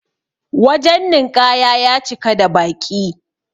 wajen ninƙaya ya cika da baƙi